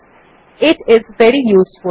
it is very useful